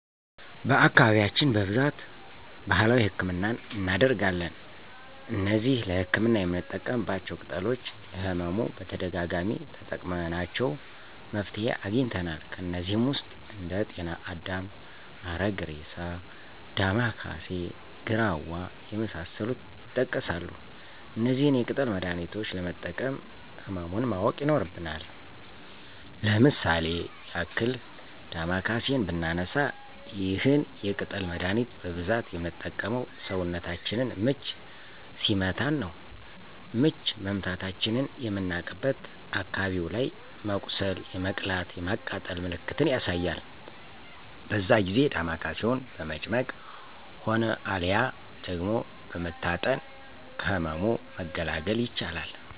በአካባቢያችን በብዛት በባህላዊ ህክምናን እናደርጋለን። እነዚህ ለህክምና የምንጠቀማቸው ቅጠሎች ለህመሙ በተደጋጋሚ ተጠቅመናቸው መፍትሄ አግኝተናል። ከነዚህም ውስጥ እንደ ጤና አዳም፣ አረግሬሳ፣ ዳማከሴ፣ ግራዋ የመሳሰሉት ይጠቀሳሉ። እነዚህን የቅጠል መድሀኒቾች ለመጠቀም ህመሙን ማወቅ ይኖርብናል። ለምሳሌ ያክል ዳማከሴን ብናነሳ ይህን የቅጠል መደሀኒት በብዛት ምንጠቀመው ሰውነታችንን ምች ሲመታን ነው። ምች መመታታችንን ምናቅበት አካባቢው ላይ የመቁሰል የመቅላት የማቃጠል ምልክትን ያሳያል በዛ ጊዜ ዳማከሴውን በመጭመቅ ሆነ አልያ ደግሞ በመታጠን ከህመሙ መገላገል ይቻላል።